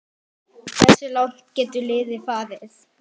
Hversu langt getur liðið farið?